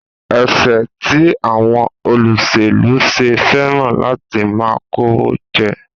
Èéṣe tí àwọn olóṣèlú ṣe fẹ́ràn láti máa kówó jẹ?